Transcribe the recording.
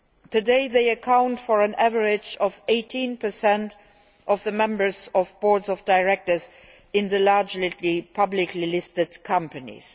Today, they account for an average of 18 of the members of boards of directors in the largest publicly listed companies.